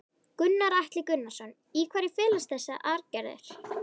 Gunnar Atli Gunnarsson: Í hverju felast þessa aðgerðir?